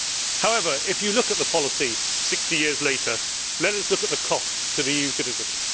However, if you look at the policy 60 years later, let us look at the cost to the EU citizens.